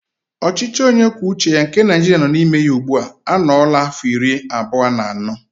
Ọchịchị onyekwuoucheya nke naijiria nọ n'ime ya ugbu anọọla áfọ̀ iri abụọ na anọ.